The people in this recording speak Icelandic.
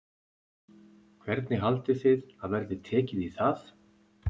Hvernig haldið þið að verði tekið í það?